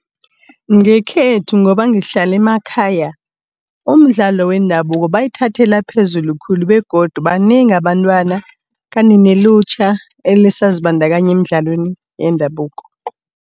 Ngekhethu ngoba ngihlala emakhaya, umdlalo wendabuko bayithathela phezulu khulu begodu banengi abantwana kanti nelutjha elisazibandakanya eemdlalweni yendabuko.